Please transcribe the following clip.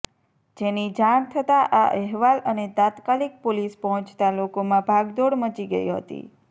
જેની જાણ થતાં આ અહેવાલ અને તાત્કાલિક પોલીસ પહોંચતા લોકોમાં ભાગદોડ મચી ગઈ હતી